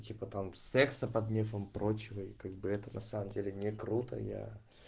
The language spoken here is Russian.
типа там секса под мефом прочего и как бы это на самом деле не круто я